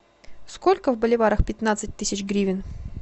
сколько в боливарах пятнадцать тысяч гривен